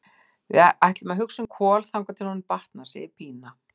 Við ætlum að hugsa um Kol þangað til honum batnar, segir Pína.